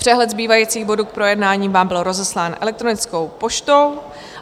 Přehled zbývajících bodů k projednání vám byl rozeslán elektronickou poštou.